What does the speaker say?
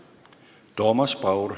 Toomas Paur.